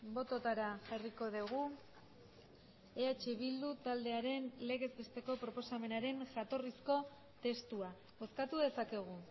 bototara jarriko dugu eh bildu taldearen legez besteko proposamenaren jatorrizko testua bozkatu dezakegu